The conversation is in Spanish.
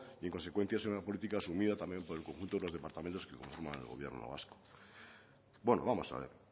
y en consecuencia es una política asumida también por el conjunto de los departamentos que conforman el gobierno vasco vamos a ver